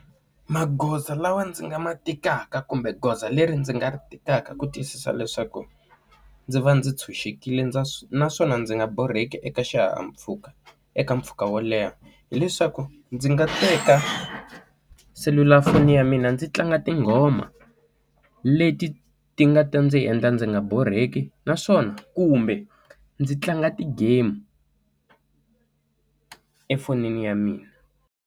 Magoza lawa ndzi nga ma tekaka kumbe goza leri ndzi nga ri tekaka ku tiyisisa leswaku, ndzi va ndzi tshunxekile ndza swi naswona ndzi nga borheki eka xihahampfhuka eka mpfhuka wo leha hileswaku ndzi nga teka selulafoni ya mina ndzi tlanga tinghoma, leti ti nga ta ndzi endla ndzi nga borheki naswona kumbe ndzi tlanga ti-game efonini ya mina.